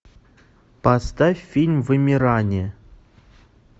поставь фильм вымирание